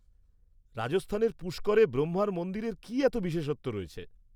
-রাজস্থানের পুষ্করে ব্রহ্মার মন্দিরের কী এত বিশেষত্ব রয়েছে?